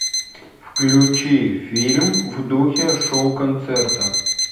включи фильм в духе шоу концерта